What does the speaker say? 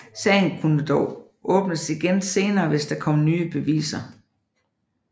Sagen kunne dog åbnes igen senere hvis der kom nye beviser